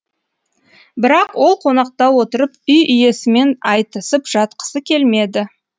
бірақ ол қонақта отырып үй иесімен айтысып жатқысы келмеді